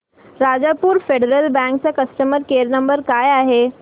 Rajapur federal bank चा customer care number काय आहे